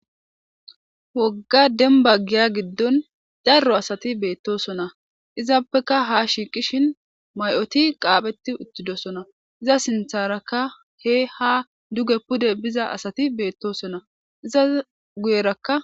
Woga demba giya gidoni daro asati betosona izappeka ha shiqishe may'oti qapheti uthidosona iza sintaraka guye ha pude biza asati betosona iza guyeraka.